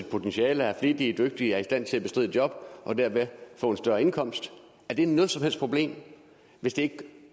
potentiale er flittige dygtige og er i stand til at bestride et job og derved få en større indkomst er det noget som helst problem hvis det